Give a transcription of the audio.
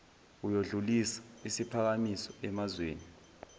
uyodlulisa isiphakamiso emazweni